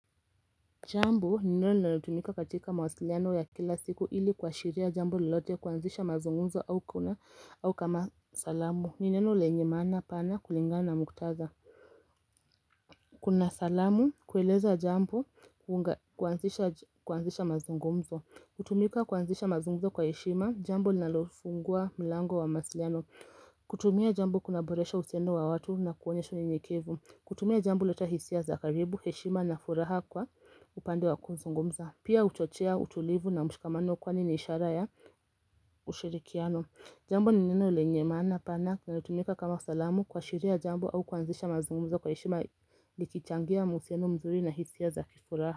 Jambo ni neno natumika katika mawasiliano ya kila siku ili kwa shiria jambo lilote kuanzisha mazungumzo au kama salamu ni neno lenye mana pana kulingana muktaza Kuna salamu kueleza jambo kuanzisha mazungumzo kutumika kuanzisha mazungumzo kwa heshima jambo nalofungua mlango wa masliano kutumia jambo kunaboresha usendo wa watu na kuone shuni nikevu kutumia jambo leta hisia zakaribu heshima na furaha kwa upande wa kuzungumza Pia utochea utulivu na mshikamano kwa nini isharaya ushirikiano Jambo ni neno lenye mana pana na tunika kama salamu kwa shiria jambo au kwanzisha mazungumza kwa ishima likichangia museno mzuri na hisia za kifuraha.